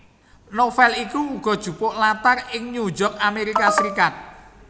Novel iki uga jupuk latar ing New York Amerika Serikat